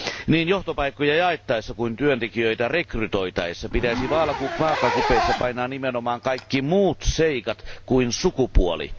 Niin johtopaikkoja jaettaessa kuin työntekijöitä rekrytoitaessa pitäisi vaakakupeissa painaa nimenomaan kaikki muut seikat kuin sukupuoli.